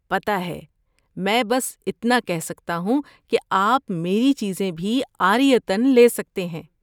پتہ ہے! میں بس اتنا کہہ سکتا ہوں کہ آپ میری چیزیں بھی عاریۃً لے سکتے ہیں۔